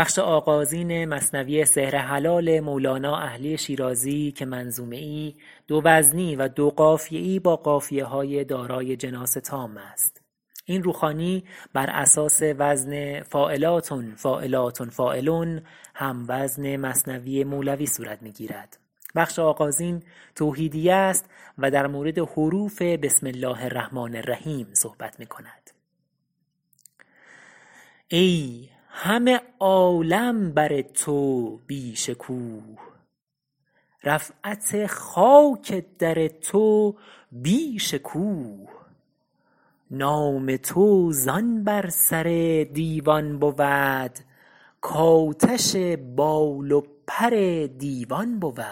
ای همه عالم بر تو بی شکوه رفعت خاک در تو بیش کوه نام تو زآن بر سر دیوان بود کآتش بال و پر دیوان بود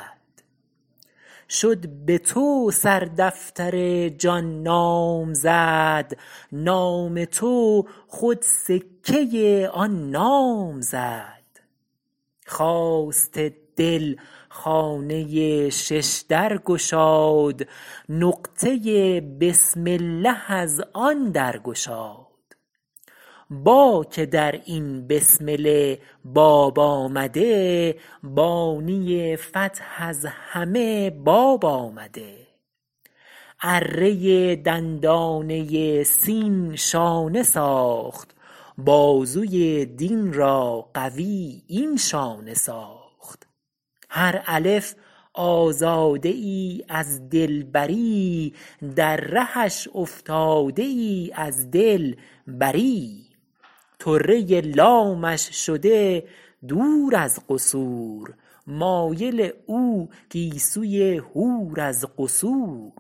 شد به تو سردفتر جان نامزد نام تو خود سکه آن نام زد خواست دل خانه ششدر گشاد نقطه بسم الله از آن درگشاد با که در این بسمله باب آمده بانی فتح از همه باب آمده اره دندانه سین شانه ساخت بازوی دین را قوی این شانه ساخت هر الف آزاده ای از دلبری در رهش افتاده ای از دل بری طره لامش شده دور از قصور مایل او گیسوی حور از قصور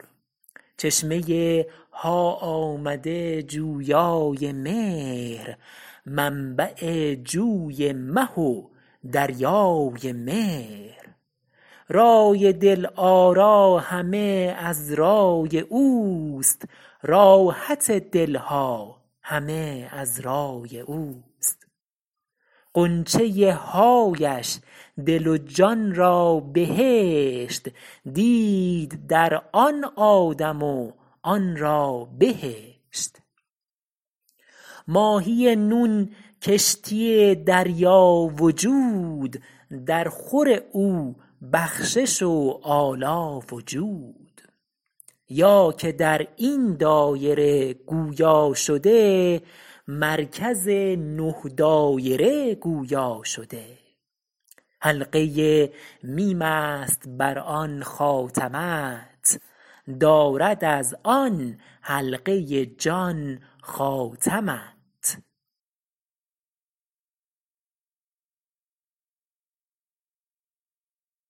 چشمه ها آمده جویای مهر منبع جوی مه و دریای مهر رای دل آرا همه از رای اوست راحت دل ها همه از رای اوست غنچه حایش دل و جان را بهشت دید در آن آدم و آن را بهشت ماهی نون کشتی دریا وجود در خور او بخشش و آلا و جود یا که در این دایره گویا شده مرکز نه دایره گویا شده حلقه میم است بر آن خاتمت دارد از آن حلقه جان خاتمت